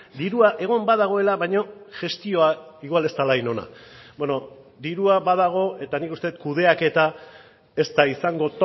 dirua egon badagoela baina gestioa igual ez dela hain ona bueno dirua badago eta nik uste dut kudeaketa ez da izango